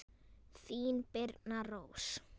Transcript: Þín Birna Rós.